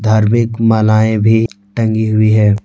धार्मिक मालाये भी टंगी हुई है।